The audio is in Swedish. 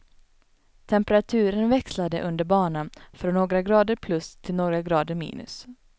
Temperaturen växlade under banan från några grader plus, till några grader minus.